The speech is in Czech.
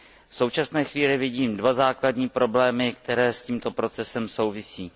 V současné chvíli vidím dva základní problémy, které s tímto procesem souvisejí.